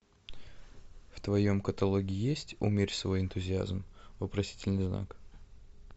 в твоем каталоге есть умерь свой энтузиазм вопросительный знак